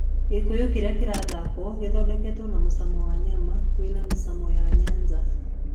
Gĩkũyũ kĩrĩa kĩrathakwo gĩthondekagwo na mũcamo wa nyanya wĩ na mĩcamo ya Nyanza.